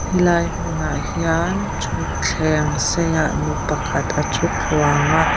helai hmunah hian thutthleng seiah nu pakhat a thu thluang a.